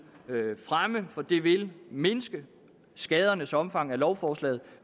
fremme for det vil mindske skadernes omfang af lovforslaget